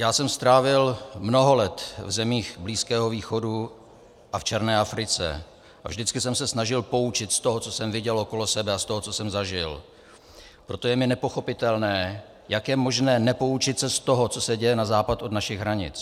Já jsem strávil mnoho let v zemích Blízkého východu a v černé Africe a vždycky jsem se snažil poučit z toho, co jsem viděl okolo sebe, a z toho, co jsem zažil, proto je mi nepochopitelné, jak je možné nepoučit se z toho, co se děje na západ od našich hranic.